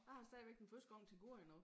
Jeg har stadigvæk den første gang til gode endnu